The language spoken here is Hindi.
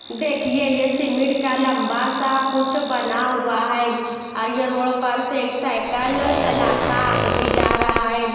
देखिए ये सीमेंट का लंबा सा कुछ बना हुआ हैं और ये रोड पर से साइकिल चलाता आदमी जा रहा हैं।